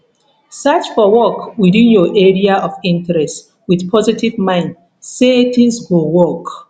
search for work within your area of interest with positve mind sey things go work